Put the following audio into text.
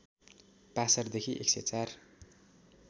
passer देखि १०४